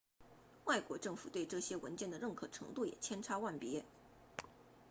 外国政府对这些文件的认可程度也千差万别